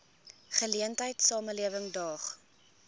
geleentheid samelewing daag